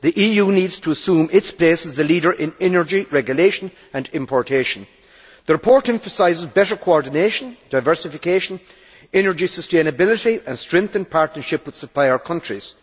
The EU needs to assume its place as a leader in energy, regulation and importation. The report emphasises better coordination, diversification, energy sustainability and strengthened partnerships with supplier countries.